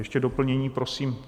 Ještě doplnění prosím.